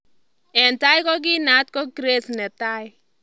Eng tai kokinaat ko Grace 1